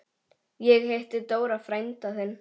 Ég hitti Dóra frænda þinn.